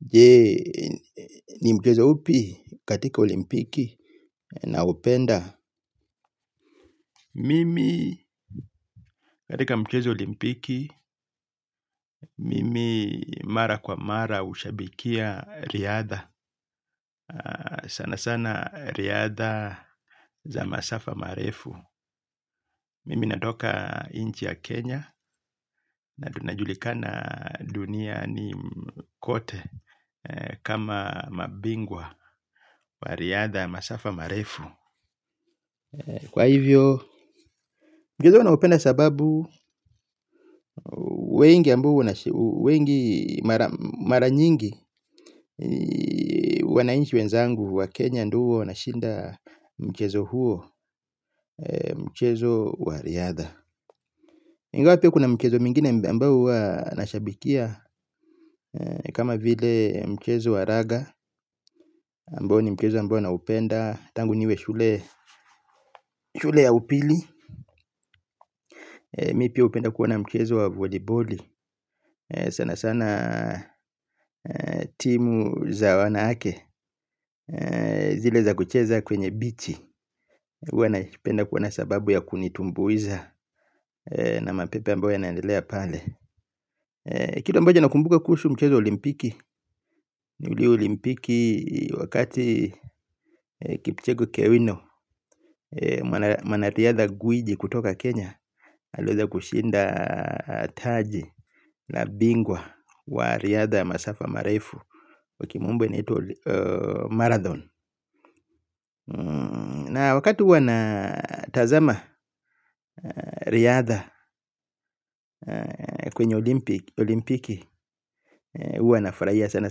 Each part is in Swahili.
Je ni mchezo upi katika olimpiki naupenda. Mimi katika mchezo olimpiki mimi mara kwa mara hushabikia riadha sana sana riadha za masafa marefu. Mimi natoka inchi ya Kenya. Najulikana duniani kote. Kama mabingwa wa riadha masafa marefu kwa hivyo, mchezo naupenda sababu wengi mara nyingi wanainchi wenzangu wa Kenya ndio huwa wanashinda mchezo huo, mchezo wa riada. Ingawa pia kuna mchezo mingine ambao huwa nashabikia kama vile mchezo wa raga ambao ni mchezo ambao naupenda, tangu niwe shule ya upili. Mi pia upenda kuona mchezo wa voliboli. Sana sana timu za wanawake zile za kucheza kwenye bichi. Uwa napenda kuona sababu ya kunitumbuiza. Na mapepo ambayo yanaendelea pale. Kitu ambacho nakumbuka kuhusu mchezo wa olimpiki. Uli olimpiki wakati kipcheko kewino mwanariadha gwiji kutoka Kenya aliweza kushinda taji la bingwa wa riadha masafa marefu kwa kimombo inaitwa Marathon na wakati huwa na tazama riadha kwenye olimpiki huwa nafurahia sana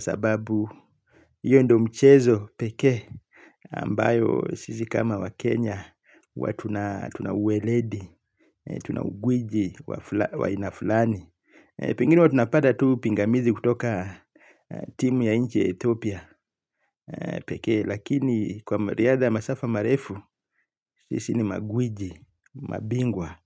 sababu iyo ndo mchezo peke ambayo sisi kama waKenya huwa tuna uweledi, tuna ugwiji wa aina fulani. Pengine huwa tunapata tu pingamizi kutoka timu ya inchi etopia peke lakini kwa riadha masafa marefu sisi ni magwiji, mabingwa.